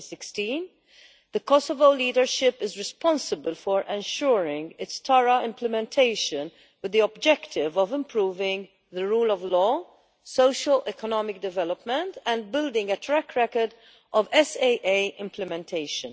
2016. The Kosovo leadership is responsible for ensuring its thorough implementation, with the objective of improving the rule of law, socio economic development and building a track record of SAA implementation.